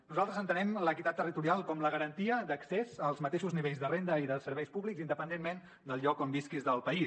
nosaltres entenem l’equitat territorial com la garantia d’accés als mateixos nivells de renda i de serveis públics independentment del lloc on visquis del país